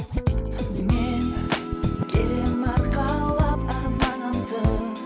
мен келемін арқалап арманымды